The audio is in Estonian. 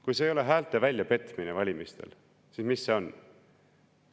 Kui see ei ole häälte väljapetmine valimistel, siis mis see on?